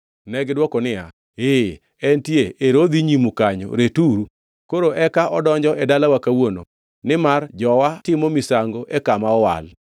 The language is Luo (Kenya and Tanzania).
To negidwoko niya, “Ee entie, ero odhi nyimu kanyo, returu. Koro eka odonjo e dalawa kawuono nimar jowa timo misango e kama owal.”